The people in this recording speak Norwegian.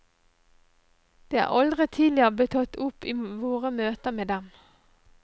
Det er aldri tidligere blitt tatt opp i våre møter med dem.